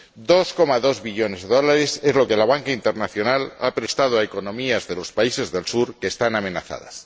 2,2 billones de dólares es lo que la banca internacional ha prestado a economías de los países del sur que están amenazadas.